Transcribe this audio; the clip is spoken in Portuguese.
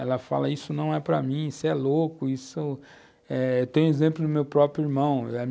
Elas falam, isso não é para mim, isso é louco, isso... eh, eu tenho o exemplo do meu próprio irmão.